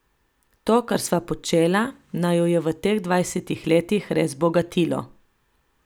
To, kar sva počela, naju je v teh dvajsetih letih res bogatilo.